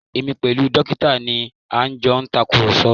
Èmi pẹ̀lú dókítà ni a jọ ń tàkùrọ̀sọ